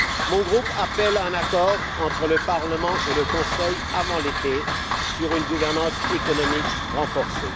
Mon groupe appelle à un accord entre le Parlement et le Conseil, avant l'été, sur une gouvernance économique renforcée.